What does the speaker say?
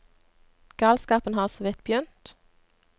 Galskapen har såvidt begynt.